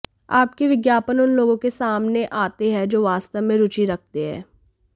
आपके विज्ञापन उन लोगों के सामने आते हैं जो वास्तव में रुचि रखते हैं